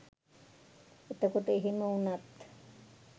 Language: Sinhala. එතකොට එහෙම උනත්